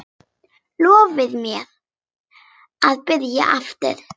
Lofaðu mér að byrja aftur!